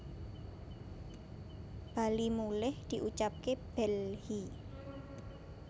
bali mulih diucapke bhelhi